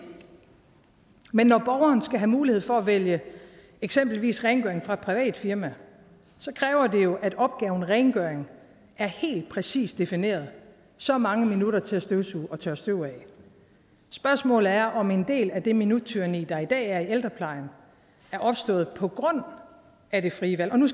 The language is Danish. men når borgeren skal have mulighed for at vælge eksempelvis rengøring fra et privat firma så kræver det jo at opgaven rengøring er helt præcist defineret så mange minutter til at støvsuge og tørre støv af spørgsmålet er om en del af det minuttyranni der i dag er i ældreplejen er opstået på grund af det frie valg og nu